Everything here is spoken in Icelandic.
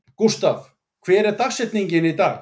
Gústav, hver er dagsetningin í dag?